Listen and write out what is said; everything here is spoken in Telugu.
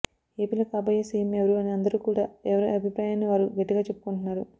ఏపీలో కాబోయే సీఎం ఎవరు అని అందరు కూడా ఎవరి అభిప్రాయాన్ని వారు గట్టిగ చెప్పుకుంటున్నారు